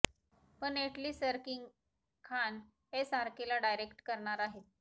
पण Atlee sir king Khan एसआरकेला direct करणार आहेत